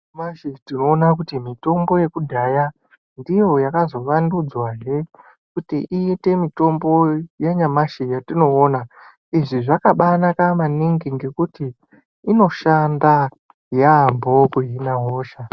Nyamashi tinoona kuti mitombo yekudhaya ndiyo yakazovandudzwahe kuti iite mitombo yanyamashi yetinoona. Izvi zvakabanaka maningi ngekuti inoshanda yaambo kuhina hosha.